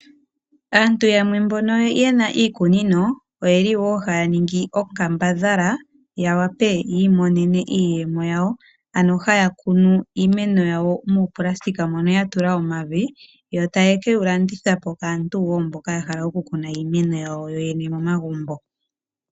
Aantu yamwe mboka ye na iikunino oye li wo haya ningi onkambadhala ya wape yi imonene iiyemo yawo, ano haya kunu iimeno yawo muupulasitika moka ya tula omavi yo taye ke wu landitha po kaantu mboka ya hala okukuna iimeno yawo momagumbo.